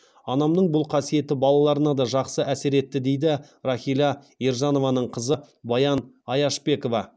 анамның бұл қасиеті балаларына да жақсы әсер етті дейді рахила ержанованың қызы баян аяшбекова